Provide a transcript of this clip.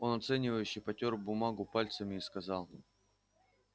он оценивающе потёр бумагу пальцами и сказал